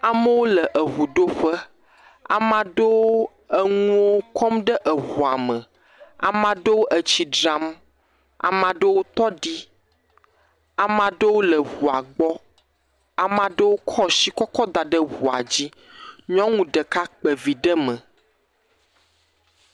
Amawo le eŋuɖoƒe. Ama ɖewo le eŋu kɔm ɖe eŋua me. Ama ɖewo etsi dzram. Ama ɖewo tɔ ɖi. ama ɖewo le ŋua gbɔ. Aa ɖewo kɔɔ shi kɔ kɔ da ɖe ŋua dzi. nyɔnu ɖeka kpe vi ɖe mɛ.